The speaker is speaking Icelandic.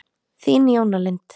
Þín, Jóna Lind.